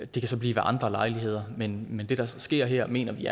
det kan så blive ved andre lejligheder men det der sker her mener vi